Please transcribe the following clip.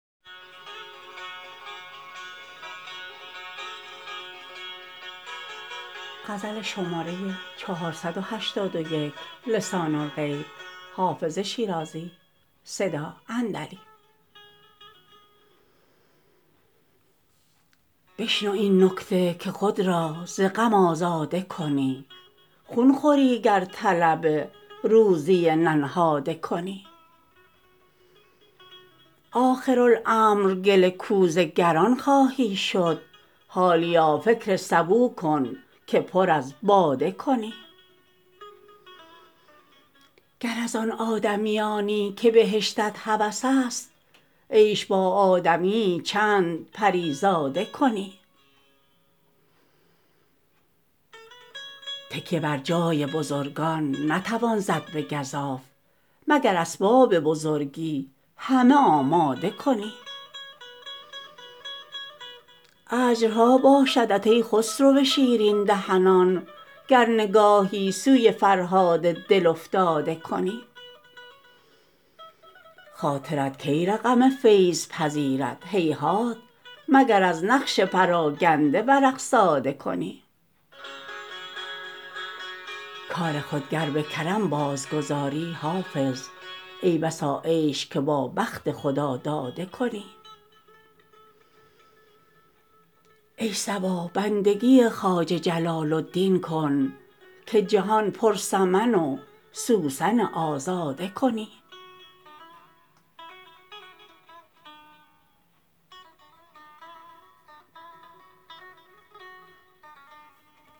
بشنو این نکته که خود را ز غم آزاده کنی خون خوری گر طلب روزی ننهاده کنی آخرالامر گل کوزه گران خواهی شد حالیا فکر سبو کن که پر از باده کنی گر از آن آدمیانی که بهشتت هوس است عیش با آدمی یی چند پری زاده کنی تکیه بر جای بزرگان نتوان زد به گزاف مگر اسباب بزرگی همه آماده کنی اجرها باشدت ای خسرو شیرین دهنان گر نگاهی سوی فرهاد دل افتاده کنی خاطرت کی رقم فیض پذیرد هیهات مگر از نقش پراگنده ورق ساده کنی کار خود گر به کرم بازگذاری حافظ ای بسا عیش که با بخت خداداده کنی ای صبا بندگی خواجه جلال الدین کن که جهان پر سمن و سوسن آزاده کنی